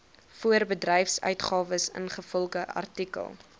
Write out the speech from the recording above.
voorbedryfsuitgawes ingevolge artikel